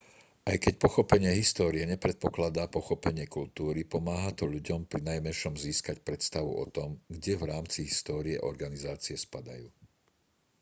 aj keď pochopenie histórie nepredpokladá pochopenie kultúry pomáha to ľuďom prinajmenšom získať predstavu o tom kde v rámci histórie organizácie spadajú